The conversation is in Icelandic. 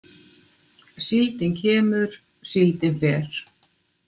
Síldin kemur, síldin fer.